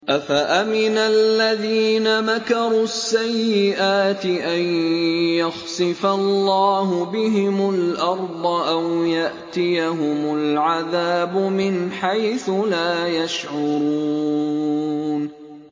أَفَأَمِنَ الَّذِينَ مَكَرُوا السَّيِّئَاتِ أَن يَخْسِفَ اللَّهُ بِهِمُ الْأَرْضَ أَوْ يَأْتِيَهُمُ الْعَذَابُ مِنْ حَيْثُ لَا يَشْعُرُونَ